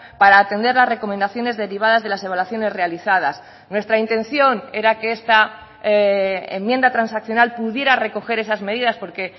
para atender las recomendaciones derivadas de las evaluaciones realizadas nuestra intención era que esta enmienda transaccional pudiera recoger esas medidas porque